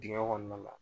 Dingɛ kɔnɔna la